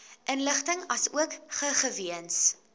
inligting asook gegewens